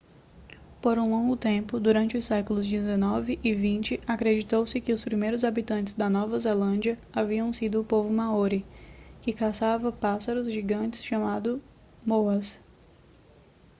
por um longo tempo durante os séculos xix e xx acreditou-se que os primeiros habitantes da nova zelândia haviam sido o povo maori que caçava pássaros gigantes chamados moas